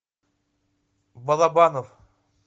балабанов